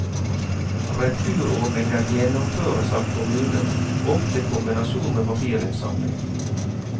Returordninger gjennomføres av kommunene, ofte i kombinasjon med papirinnsamling.